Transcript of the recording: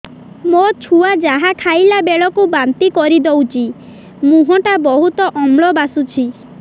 ମୋ ଛୁଆ ଯାହା ଖାଇଲା ବେଳକୁ ବାନ୍ତି କରିଦଉଛି ମୁହଁ ଟା ବହୁତ ଅମ୍ଳ ବାସୁଛି